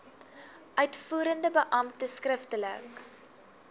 uitvoerende beampte skriftelik